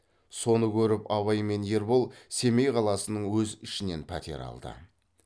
соны көріп абай мен ербол семей қаласының өзі ішінен пәтер алды